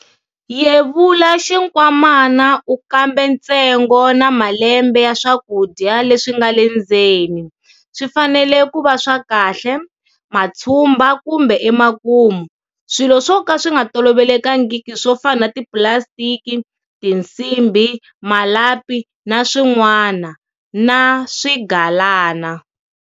Yevula xinkwamana u kambe ntsengo na malembe ya swakudya leswi nga le ndzeni, swi fanele ku va swa kahle, matshumba kumbe emakumu, swilo swo ka swi nga tolovelekangiki swo fana na tipulasitiki, tinsimbhi, malapi, na swin'wana, na swigalana.